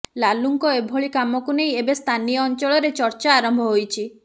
ଲାଲୁଙ୍କ ଏଭଳି କାମକୁ ନେଇ ଏବେ ସ୍ଥାନୀୟ ଅଞ୍ଚଳରେ ଚର୍ଚ୍ଚା ଆରମ୍ଭ ହୋଇଛି